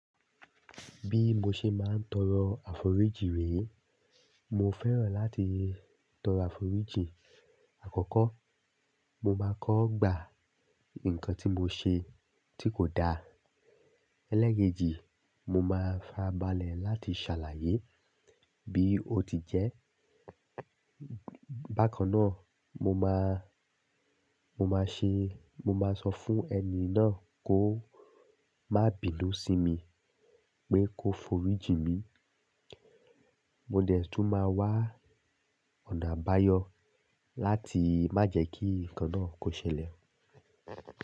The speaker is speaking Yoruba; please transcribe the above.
Bí mo ṣe máa ń tọrọ àforíjì rè, mo fẹ́ràn láti tọrọ àforíjì. Àkọ́kọ́, mo máa kọ́ gbà nǹkan tí mo ṣe tí kò da. Élékèjì, mo máa farabálẹ̀ láti ṣàlàyé bí ó ti jẹ́. Bákan náà, mo máa, mo máa ṣe-- mo máa sọ fún ẹni náà kó má bìnu sì mi pé kó foríjì mi. Mo dè tún máa wá ọ̀nà àbáyọ láti má jẹ́ kí nǹkan náà kó ṣẹlẹ̀.